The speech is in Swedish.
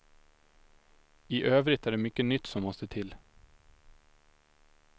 I övrigt är det mycket nytt som måste till.